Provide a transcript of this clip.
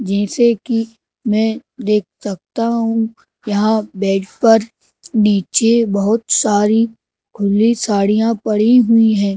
जैसे कि मैं देख सकता हूँ यहाँ बेड पर नीचे बहुत सारी खुली साड़ियाँ पड़ी हुई हैं।